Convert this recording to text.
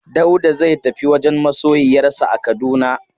Dauda zai tafi wajen masoyiyarsa a Kaduna.